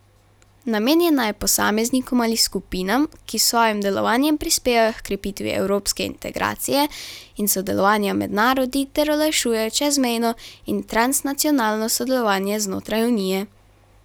Namenjena je posameznikom ali skupinam, ki s svojim delovanjem prispevajo h krepitvi evropske integracije in sodelovanja med narodi ter olajšujejo čezmejno in transnacionalno sodelovanje znotraj unije.